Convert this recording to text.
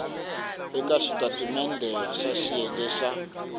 eka xitatimendhe xa xiyenge xa